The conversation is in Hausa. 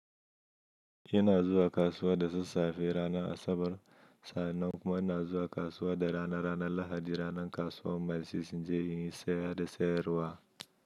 Ina zuwa kasuwa da sassafe ranar Asabar, sannan kuma ina zuwa kasuwa da rana, ranar Lahadi, ranar kasuwar Maisis, in je in yi saya da sayarwa.